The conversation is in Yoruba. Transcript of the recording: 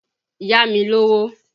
Yá mi lówó!